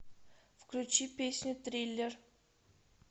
включи песню триллер